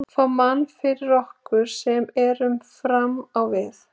Fá mann fyrir okkur sem erum fram á við.